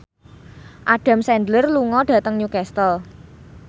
Adam Sandler lunga dhateng Newcastle